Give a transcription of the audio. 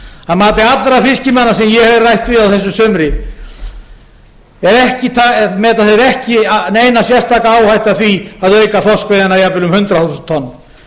að mati allra fiskimanna sem ég hef rætt við á þessu sumri meta þeir ekki neina sérstaka áhættu af því að auka þorskveiðina jafnvel um hundrað þúsund tonn